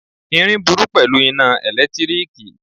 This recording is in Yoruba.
Irin burú pẹ̀lú iná ẹ̀lẹ́tíríkì.